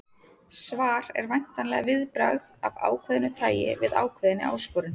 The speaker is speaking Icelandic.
Svar er væntanlega viðbragð af ákveðnu tæi við ákveðinni áskorun.